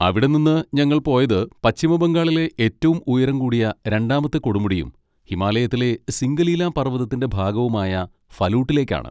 അവിടെ നിന്ന് ഞങ്ങൾ പോയത് പശ്ചിമ ബംഗാളിലെ ഏറ്റവും ഉയരം കൂടിയ രണ്ടാമത്തെ കൊടുമുടിയും ഹിമാലയത്തിലെ സിംഗലീല പർവ്വതത്തിന്റെ ഭാഗവുമായ ഫലൂട്ടിലേക്കാണ്.